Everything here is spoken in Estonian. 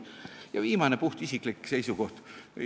Ja viimane, puhtisiklik seisukoht.